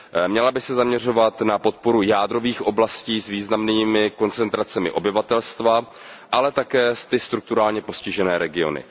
Měla by se zaměřovat na podporu jádrových oblastí s významnými koncentracemi obyvatelstva, ale také na strukturálně postižené regiony.